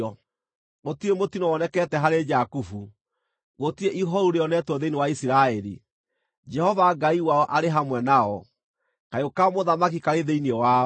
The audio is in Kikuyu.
“Gũtirĩ mũtino wonekete harĩ Jakubu, gũtirĩ ihooru rĩonetwo thĩinĩ wa Isiraeli. Jehova Ngai wao arĩ hamwe nao; kayũ ka mũthamaki karĩ thĩinĩ wao.